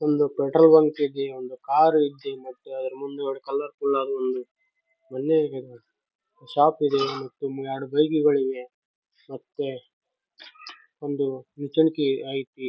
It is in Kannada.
ಒಂದು ಪೆಟ್ರೋಲ್‌ ಬಂಕ್‌ ಇದೆ ಒಂದು ಕಾರ್‌ ಇದೆ ಮತ್ತೆ ಅದ್ರ ಮುಂದುಗಡೆ ಕಲರ್ ಫುಲ್‌ ಆದ ಒಂದು ಮನೆ ಶಾಪ್ ಇದೆ ಮತ್ತು ಎರಡು ಬೈಕುಗಳಿವೆ ಮತ್ತೆ ಒಂದು ನಿಚ್ಚಣಿಕೆ ಐತಿ.